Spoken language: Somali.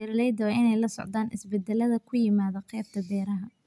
Beeralayda waa in ay la socdaan isbeddelada ku yimaadda qaybta beeraha.